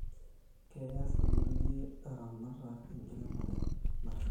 Keyas irkulie laramatak enkiremero nashula